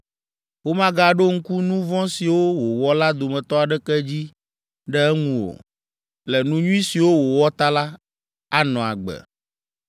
Womagaɖo ŋku nu vɔ̃ siwo wòwɔ la dometɔ aɖeke dzi ɖe eŋu o. Le nu nyui siwo wòwɔ ta la, anɔ agbe.